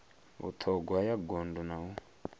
vhuṱhogwa ya gondo na u